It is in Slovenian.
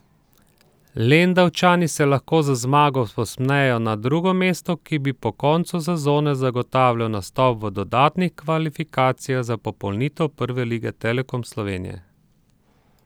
Lendavčani se lahko z zmago povzpnejo na drugo mesto, ki bi po koncu sezone zagotavljal nastop v dodatnih kvalifikacijah za popolnitev Prve lige Telekom Slovenije.